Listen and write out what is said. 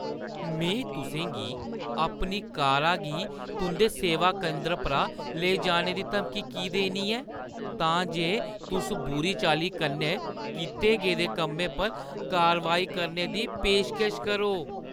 में तुसें गी अपनी कारा गी तुंʼदे सेवा केंदर परा लेई जाने दी धमकी की देनी ऐ तां जे तुस बुरी चाल्ली कन्नै कीते गेदे कम्मै पर कारवाई करने दी पेशकश करो?